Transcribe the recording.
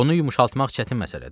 Onu yumşaltmaq çətin məsələdir.